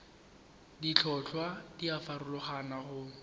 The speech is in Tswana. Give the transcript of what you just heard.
ditlhotlhwa di a farologana go